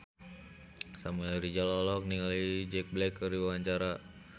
Samuel Rizal olohok ningali Jack Black keur diwawancara